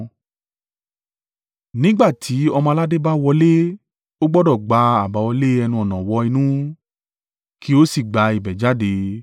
Nígbà tí ọmọ-aládé bá wọlé, ó gbọdọ̀ gbá àbáwọlé ẹnu-ọ̀nà wọ inú, kí ó sì gba ibẹ̀ jáde.